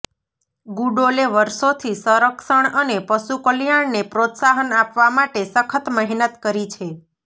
ગુડોલે વર્ષોથી સંરક્ષણ અને પશુ કલ્યાણને પ્રોત્સાહન આપવા માટે સખત મહેનત કરી છે